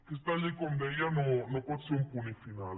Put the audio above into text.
aquesta llei com deia no pot ser un punt i final